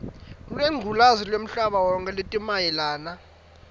lwengculazi lwemhlabawonkhe letimayelana